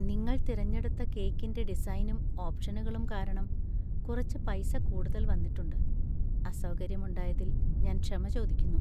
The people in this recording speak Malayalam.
നിങ്ങൾ തിരഞ്ഞെടുത്ത കേക്കിന്റെ ഡിസൈനും ഓപ്‌ഷനുകളും കാരണം കുറച്ച് പൈസ കൂടുതല്‍ വന്നിട്ടുണ്ട്. അസൗകര്യം ഉണ്ടായതിൽ ഞാൻ ക്ഷമ ചോദിക്കുന്നു.